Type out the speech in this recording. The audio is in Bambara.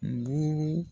Duuru